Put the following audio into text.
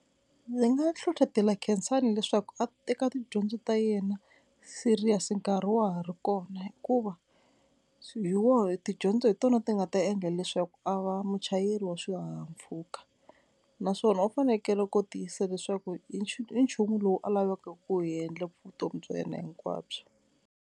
Ndzi nga hlohlotela Khensani leswaku a teka tidyondzo ta yena serious nkarhi wa ha ri kona hikuva hi woho, tidyondzo hi tona ti nga ta endla leswaku a va muchayeri wa swihahampfhuka naswona u fanekele ku tiyisisa leswaku i nchumu lowu a lavaka ku wu endla vutomi bya yena hinkwabyo.